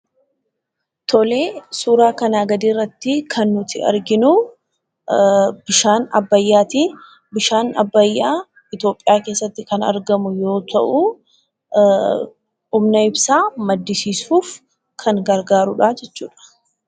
Suuraa kanaa gadii irratti kan nuti arginu bishaan abbayyaati. Bishaan abbayyaa Itoophiyaa keessatti kan argamu yoo ta'u, humna ibsaa maddisiisuuf kan gargaaruudha jechuudha.